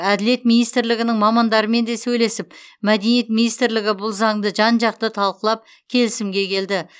әділет министрлігінің мамандарымен де сөйлесіп мәдениет министрлігі бұл заңды жан жақты талқылап келісімге келді